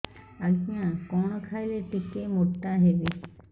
ଆଜ୍ଞା କଣ୍ ଖାଇଲେ ଟିକିଏ ମୋଟା ହେବି